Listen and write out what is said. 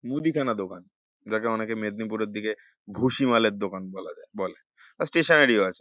মুদিখানার দোকান যাকে অনেকে মেদনীপুরের দিকে ভুসীমালের দোকান বলা যায় বলে স্টেশনারি -ও আছে।